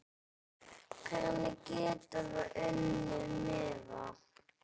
Hvernig geturðu unnið miða?